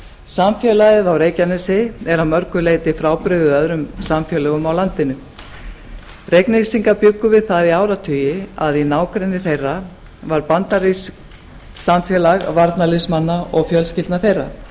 samfélagið á reykjanesi er að mörgu leyti frábrugðið öðrum samfélögum á landinu reyknesingar bjuggu við það í áratugi að í nágrenni þeirra var bandarískt samfélag varnarliðsmanna og fjölskyldna þeirra